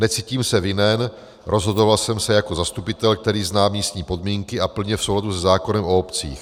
Necítím se vinen, rozhodoval jsem se jako zastupitel, který zná místní podmínky, a plně v souladu se zákonem o obcích.